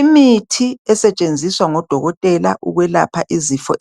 Imithi yezibhedlela